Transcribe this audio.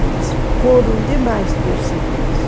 Eles foram demais perseguidos.